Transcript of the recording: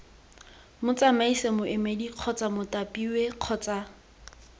motsamaisi moemedi kgotsa mothapiwa kgotsa